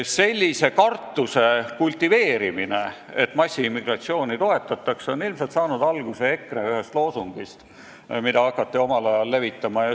Sellise kartuse kultiveerimine, et massiimmigratsiooni toetatakse, on ilmselt saanud alguse EKRE ühest loosungist, mida hakati omal ajal levitama.